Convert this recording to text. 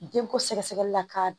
Denko sɛgɛsɛgɛli la k'a